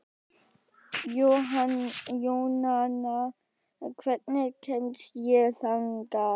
Jónanna, hvernig kemst ég þangað?